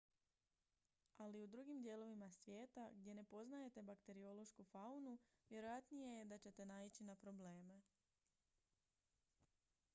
ali u drugim dijelovima svijeta gdje ne poznajete bakteriološku faunu vjerojatnije je da ćete naići na probleme